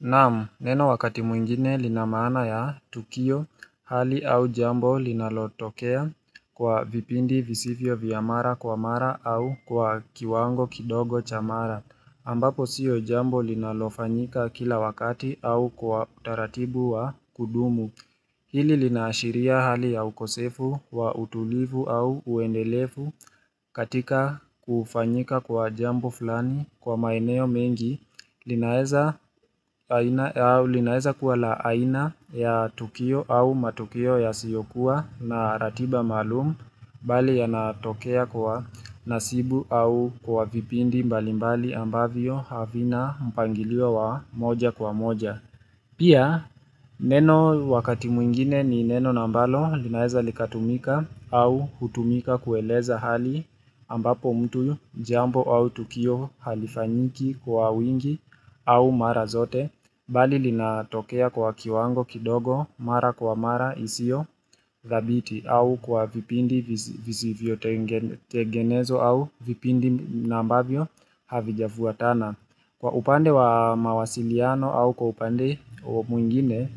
Naam neno wakati mwingine linamana ya tukio hali au jambo linalotokea kwa vipindi visivyo vya mara kwa mara au kwa kiwango kidogo cha mara ambapo siyo jambo linalofanyika kila wakati au kwa taratibu wa kudumu hili linaashiria hali ya ukosefu wa utulivu au uendelevu katika kufanyika kwa jambo fulani kwa maeneo mengi linaeza linaeza kuwa la aina ya tukio au matukio yasiyokuwa na ratiba malum bali yanatokea kwa nasibu au kwa vipindi mbalimbali ambavyo havina mpangilio wa moja kwa moja pia neno wakati mwingine ni neno na ambalo linaeza likatumika au hutumika kueleza hali ambapo mtu jambo au tukio halifanyiki kwa wingi au mara zote. Bali linatokea kwa kiwango kidogo mara kwa mara isiyothabiti au kwa vipindi vizivyo tegenezwa au vipindi na ambavyo havijafuatana kwa upande wa mawasiliano au kwa upande mwingine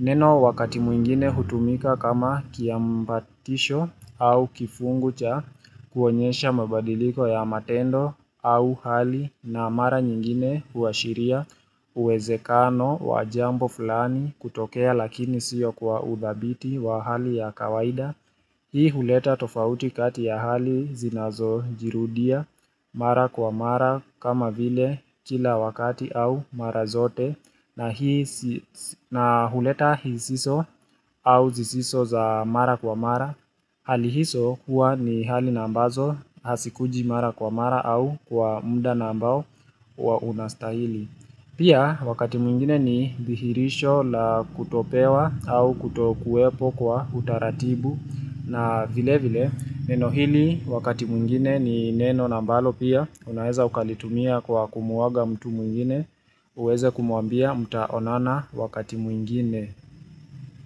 neno wakati mwingine hutumika kama kiambatisho au kifungu cha kuonyesha mabadiliko ya matendo au hali na mara nyingine huashiria uwezekano wa jambo fulani kutokea lakini siyo kwa udhabiti wa hali ya kawaida hii huleta tofauti kati ya hali zinazojirudia mara kwa mara kama vile kila wakati au mara zote na huleta hisiso au zisiso za mara kwa mara hali hizo hua ni hali na ambazo hazikuji mara kwa mara au kwa mda na ambao unastahili Pia wakati mwingine ni thihirisho la kutopewa au kutokuepo kwa utaratibu na vile vile neno hili wakati mwingine ni neno na ambalo pia unaeza ukalitumia kwa kumuaga mtu mwingine uweze kumuambia mtaonana wakati mwingine.